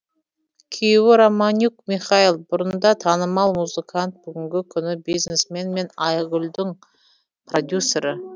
күйеуі романюк михаил бұрында танымал музыкант бүгінгі күні бизнесмен мен айгулдің продюсері